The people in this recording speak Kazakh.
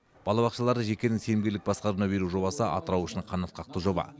балабақшаларды жекенің сенімгерлік басқаруына беру жобасы атырау үшін қанатқақты жоба